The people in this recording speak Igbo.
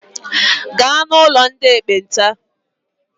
Gaa ụlọ ndị ekpenta!